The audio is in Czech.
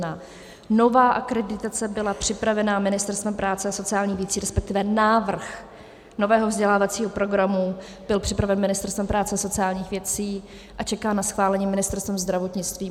Nová akreditace byla připravena Ministerstvem práce a sociálních věcí, respektive návrh nového vzdělávacího programu byl připraven Ministerstvem práce a sociálních věcí a čeká na schválení Ministerstvem zdravotnictví.